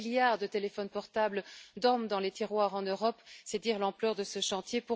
Un milliard de téléphones portables dorment dans les tiroirs en Europe, c'est dire l'ampleur de ce chantier.